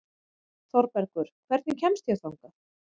Þorbergur, hvernig kemst ég þangað?